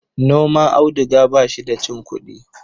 noman auduga ba shi da cin kudi